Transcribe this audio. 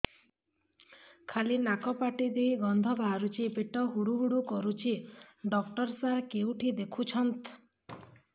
ଖାଲି ନାକ ପାଟି ଦେଇ ଗଂଧ ବାହାରୁଛି ପେଟ ହୁଡ଼ୁ ହୁଡ଼ୁ କରୁଛି ଡକ୍ଟର ସାର କେଉଁଠି ଦେଖୁଛନ୍ତ